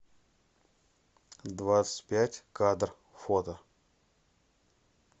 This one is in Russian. двадцать пять кадр фото